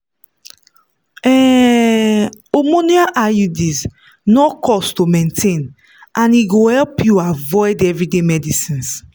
um hormonal iuds no cost to maintain and e go help you avoid everyday medicines.